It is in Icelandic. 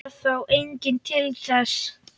Varð þá enginn til þess.